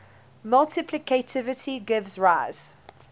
multiplicativity gives rise